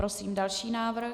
Prosím další návrh.